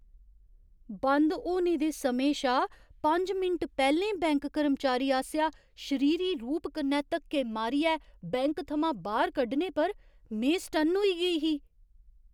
बंद होने दे समें शा पंज मिंट पैह्‌लें बैंक कर्मचारी आसेआ शरीरी रूप कन्नै धक्के मारियै बैंक थमां बाह्‌र कड्ढने पर में सटन्न होई गेई ही।